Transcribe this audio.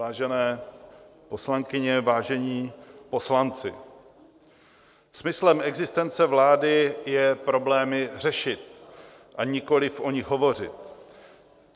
Vážené poslankyně, vážení poslanci, smyslem existence vlády je problémy řešit, a nikoliv o nich hovořit.